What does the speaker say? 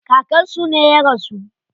Kakan su ne ya rasu.